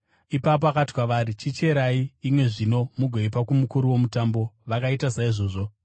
Ipapo akati kwavari, “Chicherai imwe zvino mugoipa kumukuru womutambo.” Vakaita saizvozvo.